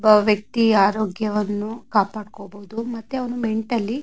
ಒಬ್ಬ ವ್ಯಕ್ತಿ ಆರೋಗ್ಯವನ್ನು ಕಾಪಾಡಬಹುದು ಮತ್ತೆ ಅವರು ಮೆಂಟಲಿ --